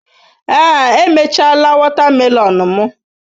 Ee, emechaala wotamelon mu.